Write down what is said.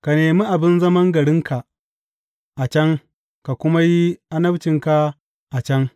Ka nemi abin zaman garinka a can ka kuma yi annabcinka a can.